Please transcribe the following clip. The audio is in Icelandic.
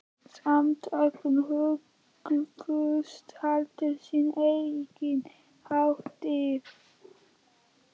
Samtökin hugðust halda sína eigin hátíð.